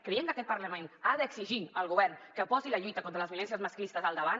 creiem que aquest parlament ha d’exigir al govern que posi la lluita contra les violències masclistes al davant